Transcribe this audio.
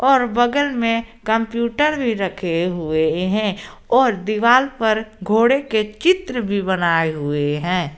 और बगल में कंप्यूटर भी रखे हुए हैं और पर घोड़े के चित्र भी बनाए हुए हैं।